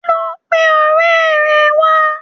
Lọ pe ọ̀rẹ́ ẹ wá.